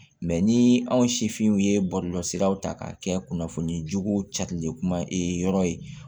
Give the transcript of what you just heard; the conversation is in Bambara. ni anw sifinw ye bɔlɔlɔsiraw ta ka kɛ kunnafonijugu cakirilen kuma yɔrɔ ye